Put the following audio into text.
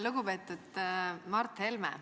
Lugupeetud Mart Helme!